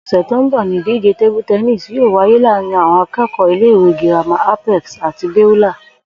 Ò̩sè̩ tó ń bò̩ ni ìdíje table tennis yóò wáyé láàárín aké̩kò̩ó̩ ilé ìwé girama Apex àti Beulah